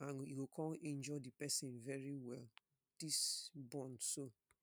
and e go kon injure di pesin very well dis burn so.